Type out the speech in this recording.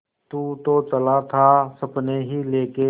तू तो चला था सपने ही लेके